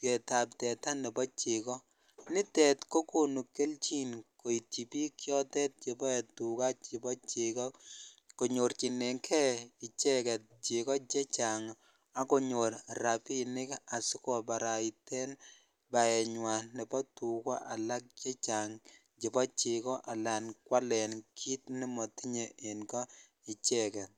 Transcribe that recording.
geet ab teta nebo chego, nitet kokonu keljin koitchi biik chotet cheboe tuga chebo chego konyorchinengen icheget chego chechang ak konyor rabinik asikobaraiten baenywan nebo tuga alak chechang chebo chego alan kwalen kiit nemotinye en ko icheget.